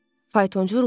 Faytonçu ruhlandı.